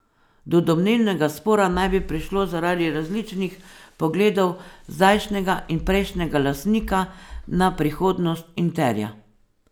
Do domnevnega spora naj bi prišlo zaradi različnih pogledov zdajšnjega in prejšnjega lastnika na prihodnost Interja.